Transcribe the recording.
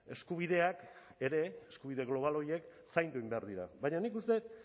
eskubideak ere eskubide global horiek zaindu egin behar dira baina nik uste dut